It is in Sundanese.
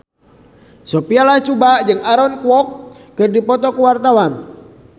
Sophia Latjuba jeung Aaron Kwok keur dipoto ku wartawan